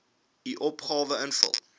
u opgawe invul